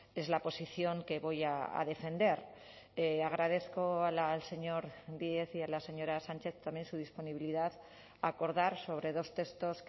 es la posición que voy a defender agradezco al señor díez y a la señora sánchez también su disponibilidad a acordar sobre dos textos